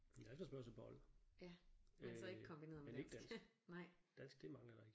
Men det er efterspørgsel på old øh men ikke dansk. Dansk det mangler der ikke